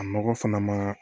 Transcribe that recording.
A nɔgɔ fana ma